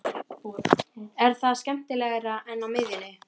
Er það skemmtilegra en á miðjunni?